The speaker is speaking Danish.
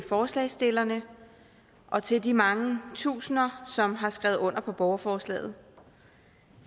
forslagsstillerne og til de mange tusinde som har skrevet under på borgerforslaget